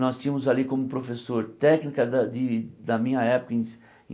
Nós tínhamos ali como professor técnica da de da minha época, em